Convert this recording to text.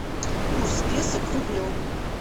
курс песо к рублю